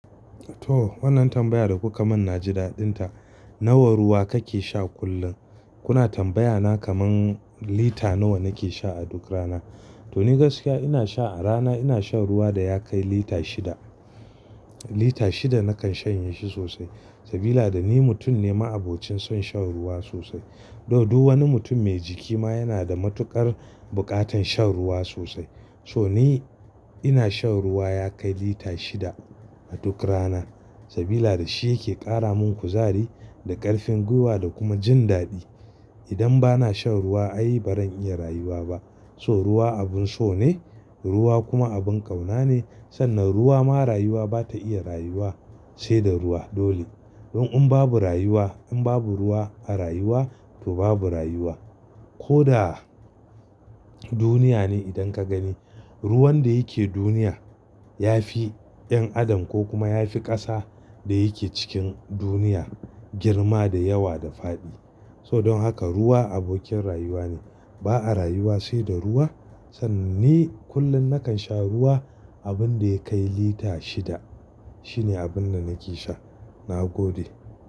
To wannan tambaya da kuka min na ji daɗin ta. Nawa ruwa kake sha kullum? Kuna tambaya na kamar lita nawa nake sha a duk rana. To ni gaskiya ina sha a rana ina sha ruwa da ya kai lita shida. Lita shida nakan shanye shi sosai. Sabila da ni mutum ne ma'abocin son shan ruwa sosai. Though dul wani mutum mai jiki ma yana da matuƙar buƙatan shan ruwa sosai. So ni ina shan ruwa ya kai lita shida a duk rana. Sabila da shi yake ƙara mun kuzari da ƙarfin gwiwa da kuma jin daɗi. Idan bana shan ruwa ai bazan iya rayuwa ba. So ruwa abun so ne, ruwa kuma abun ƙauna ne. Sannan ruwa ma rayuwa bata iya rayuwa sai da ruwa dole. Don in babu rayuwa, in babu ruwa a rayuwa to babu rayuwa. Ko da duniya ne idan ka gani ruwan da yake duniya yafi 'yan adam ko kuma yafi ƙasa da yake cikin duniya girma da yawa da faɗi. So don haka ruwa abokin rayuwa ne. Ba a rayuwa sai da ruwa. Sannan ni kullum nakan sha ruwa abun da ya kai lita shida. Shine abun da nake sha. Na gode.